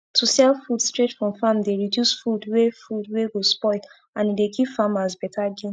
to sell food straight from farm dey reduce food wey food wey go spoil and e dey give farmers beta gain